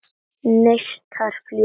Neistar fljúga.